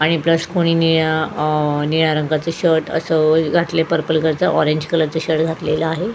आणि ब्रश कोणी निळा अ निळा रंगाचं शर्ट असं घातलेल पर्पल कलरचा ऑरेंज कलरचा शर्ट घातलेला आहे.